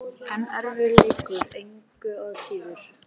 En erfiður leikur, engu að síður.